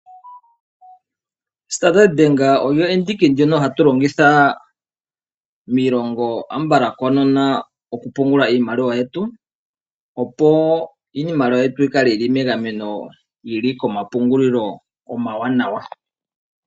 Standard Bank oyo ombaanga ndjono hatu longitha konyala miilongo ayihe koonono okupungula iimaliwa yetu, opo iimaliwa yetu yi kale yi li megameno yi li komapungulilo omawanawa.